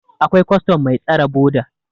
akwai custom Mai tasre boda